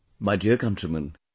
My dear countrymen,